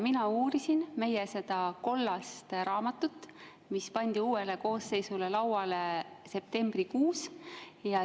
Mina uurisin seda kollast raamatut, mis pandi uuele koosseisule lauale septembrikuus.